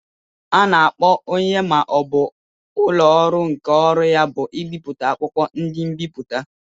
A na-akpọ onye ma ọ bụ ụlọ ọrụ nke ọrụ ya bụ ibipụta akwụkwọ, ndi nbiputa.